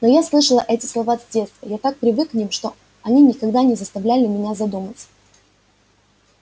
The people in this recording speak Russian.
но я слышал эти слова с детства я так привык к ним что они никогда не заставляли меня задуматься